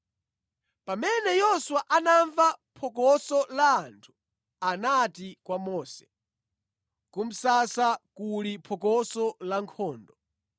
Pamene Yoswa anamva phokoso la anthu anati kwa Mose, “Ku msasa kuli phokoso la nkhondo.”